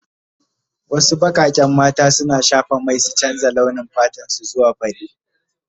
Wasu bakaken mata suna shafa mai su canza launi fatan su zuwa fari.